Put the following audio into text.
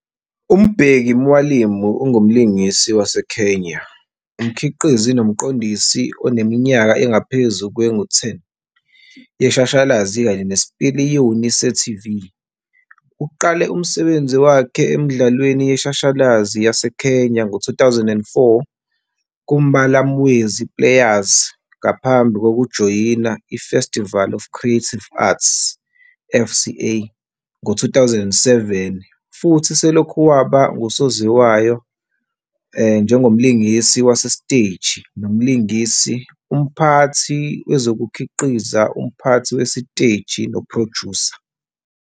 UMbeki Mwalimu ungumlingisi waseKenya, umkhiqizi nomqondisi oneminyaka engaphezu kwengu-10 yeshashalazi kanye nesipiliyoni se-TV. Uqale umsebenzi wakhe emidlalweni yeshashalazi yaseKenya ngo-2004 kuMbalamwezi Players ngaphambi kokujoyina i-Festival Of Creative Arts, FCA, ngo-2007 futhi selokhu waba ngusaziwayo njengomlingisi wasesteji nomlingisi, umphathi wezokukhiqiza, umphathi wesiteji nophrojusa.